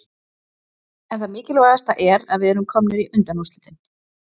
En það mikilvægasta er að við erum komnir í undanúrslitin